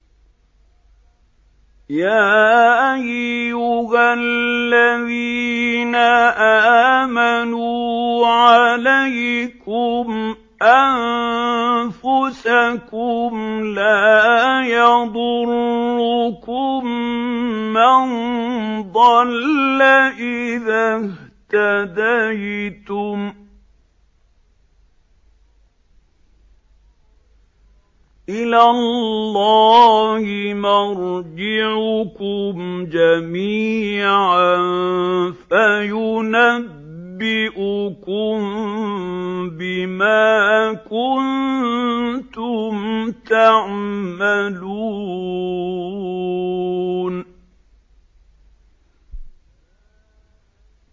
يَا أَيُّهَا الَّذِينَ آمَنُوا عَلَيْكُمْ أَنفُسَكُمْ ۖ لَا يَضُرُّكُم مَّن ضَلَّ إِذَا اهْتَدَيْتُمْ ۚ إِلَى اللَّهِ مَرْجِعُكُمْ جَمِيعًا فَيُنَبِّئُكُم بِمَا كُنتُمْ تَعْمَلُونَ